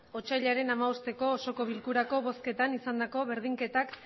otsailaren hamabosteko osoko bilkurako bozketan izandako berdinketak